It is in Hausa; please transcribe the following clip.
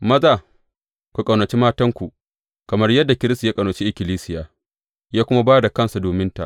Maza, ku ƙaunaci matanku, kamar yadda Kiristi ya ƙaunaci ikkilisiya, ya kuma ba da kansa dominta.